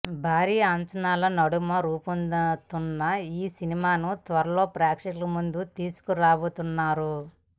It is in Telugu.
భారీ అంచనాల నడుమ రూపొందుతున్న ఈ సినిమాను త్వరలో ప్రేక్షకుల ముందుకు తీసుకు రాబోతున్నారు